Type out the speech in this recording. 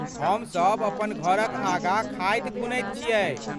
हमसभ अपन घरक आगाँ खाधि खुनैत छियै।